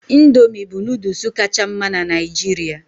Indomị bụ nooduls kacha mma na Naijiria